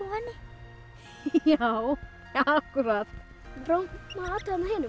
henni já akkúrat prófum að athuga hinum